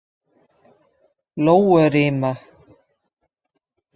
Lóurima